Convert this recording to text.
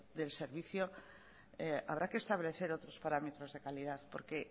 del servicio habrá que establecer otros parámetros de calidad porque